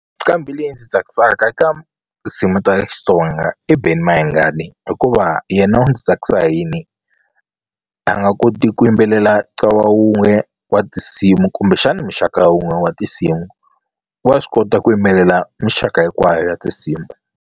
Nqambhi leyi ndzi tsakisaka eka tinsimu ta Xitsonga i Benny Mayengani hikuva yena u ndzi tsakisa hi yini a nga koti ku yimbelela ntlawa wun'we wa tinsimu kumbexana muxaka wun'we wa tinsimu wa swi kota ku yimbelela mixaka hinkwayo ya tinsimu.